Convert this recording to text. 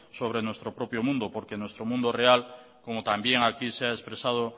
sobre nuestro propio mundo porque nuestro mundo real como también aquí se ha expresado